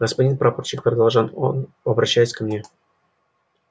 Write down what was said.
господин прапорщик продолжал он обращаясь ко мне